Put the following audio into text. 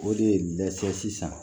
O de ye dɛsɛ sisan